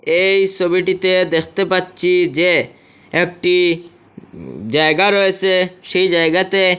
এই সবিটিতে দেখতে পাচ্ছি যে একটি উম জায়গা রয়েসে সেই জায়গাতে--